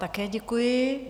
Také děkuji.